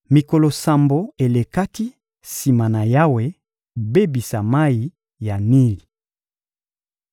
Mikolo sambo elekaki sima na Yawe kobebisa mayi ya Nili.